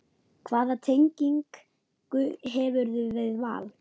Hvaða tengingu hefurðu við Val?